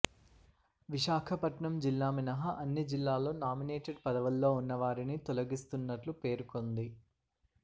విశాఖపట్నం జిల్లా మినహా అన్ని జిల్లాల్లో నామి నేటెడ్ పదవుల్లో ఉన్న వారిని తొలగిస్తున్నట్లు పేర్కొంది